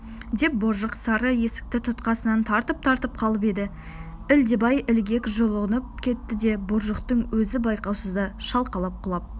деп боржық сары есікті тұтқасынан тартып-тартып қалып еді ілдебай ілгек жұлынып кетті де боржықтың өзі байқаусызда шалқалап құлап